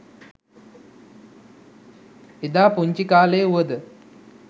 එදා පුංචිකාලේ වුව ද